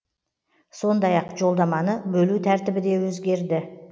сондай ақ жолдаманы бөлу тәртібі де өзгерді